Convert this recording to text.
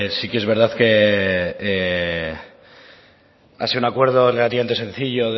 sí que es verdad que ha sido un acuerdo relativamente sencillo